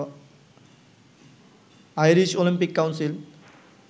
Irish Olympic council